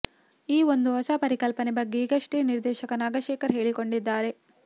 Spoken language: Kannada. ಈ ಒಂದು ಹೊಸ ಪರಿಕಲ್ಪನೆ ಬಗ್ಗೆ ಈಗಷ್ಟೆ ನಿರ್ದೇಶಕ ನಾಗಶೇಖರ್ ಹೇಳಿಕೊಂಡಿದ್ದಾರೆ